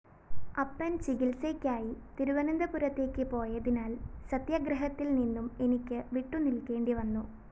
അപ്പന്‍ ചികിത്സയ്ക്കായി തിരുവനന്തപുരത്തേക്ക് പോയതിനാല്‍ സത്യാഗ്രഹത്തില്‍ നിന്നും എനിക്ക് വിട്ടുനില്‍ക്കേണ്ടിവന്നു